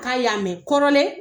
K'a y'a mɛn kɔrɔlen